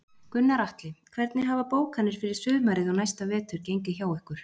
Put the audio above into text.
Gunnar Atli: Hvernig hafa bókanir fyrir sumarið og næsta vetur gengið hjá ykkur?